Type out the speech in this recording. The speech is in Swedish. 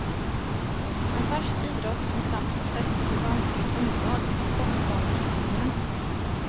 En färsk idrott som snabbt fått fäste på vanskligt underlag är kortbaneskrinningen.